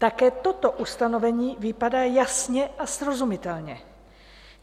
Také toto ustanovení vypadá jasně a srozumitelně.